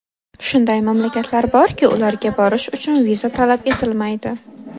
Shunday mamlakatlar borki, ularga borish uchun viza talab etilmaydi.